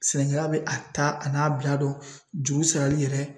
Sɛnɛkɛla bɛ a ta a n'a bila dɔn juru sarali yɛrɛ